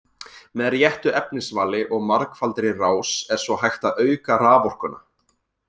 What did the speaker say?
Með réttu efnisvali og margfaldri rás er svo hægt að auka raforkuna.